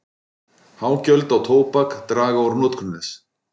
Há gjöld á tóbak draga úr notkun þess.